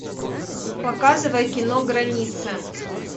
показывай кино граница